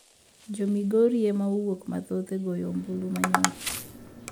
Jo migori ema owuok mathoth e goyo ombulu manyoro